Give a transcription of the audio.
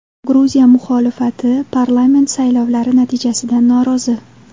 Gruziya muxolifati parlament saylovlari natijasidan norozi.